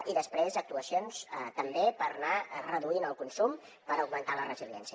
i després actuacions també per anar reduint el consum per augmentar la resiliència